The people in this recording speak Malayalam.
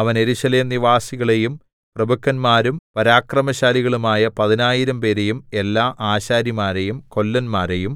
അവൻ യെരൂശലേം നിവാസികളെയും പ്രഭുക്കന്മാരും പരാക്രമശാലികളുമായ പതിനായിരം പേരെയും എല്ലാ ആശാരിമാരെയും കൊല്ലന്മാരെയും